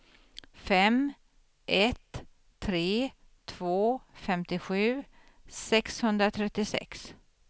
fem ett tre två femtiosju sexhundratrettiosex